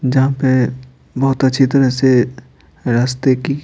जहां पे बहुत अच्छी तरह से रास्ते की--